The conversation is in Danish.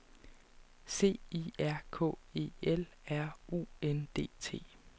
C I R K E L R U N D T